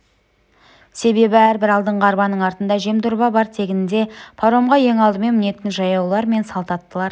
себебі әрбір алдыңғы арбаның артында жемдорба бар тегінде паромға ең алдымен мінетін жаяулар мен салт аттылар